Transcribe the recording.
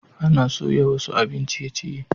Ana soya wasu abin ciye-ciye.